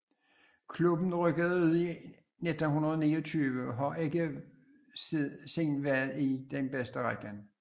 Klubben rykkede ud i 1929 og har ikke siden været i den bedste række